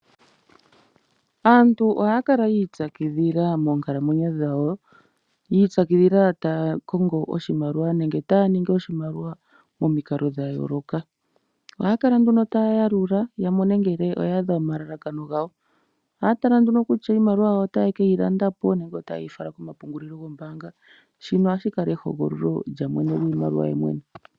Aantu ohaya kala yiipyakidhila moonkala mwenyo dhawo, yiipyakidhila taya kongo oshimaliwa nenge taya ningi oshimaliwa momikalo dhayooloka. Ohaya kala nduno taya yalula, yamone ngele oya adha omalalakano gawo. Ohaya tala nduno kutya iimaliwa yawo otaya keyi landa po nenge ota ye yi fala komapungulilo gombaanga, shino ohashi ehugulilo lyamwene gwiimaliwa yemwene.